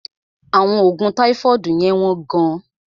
Àwọn oògùn táífọ́ọ̀dù yẹ́n wọ́n gán.